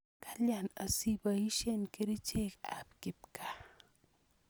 Kalya asiipoisye kerichek ap kipkaa?